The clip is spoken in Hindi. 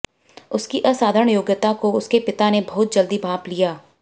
उसकी असाधारण योग्यता को उसके पिता ने बहुत जल्दी भांप लिया